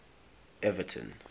everton